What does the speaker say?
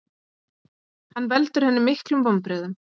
Hann veldur henni miklum vonbrigðum.